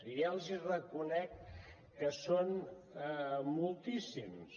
i ja els reconec que són moltíssims